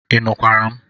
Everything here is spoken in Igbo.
Ị nụkwara m?